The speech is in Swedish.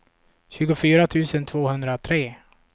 tjugofyra tusen tvåhundratre